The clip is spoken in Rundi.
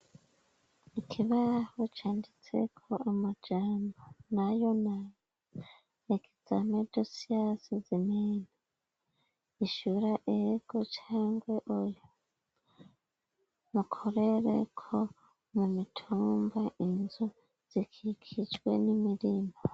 Ikibaho canditse ko amajambo, nayo nayo ,examen de science humaine ,ishura ego cangwe oya, mukorereko mu mitumba inzu zikikijwe n'imirimbo.